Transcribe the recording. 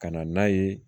Ka na n'a ye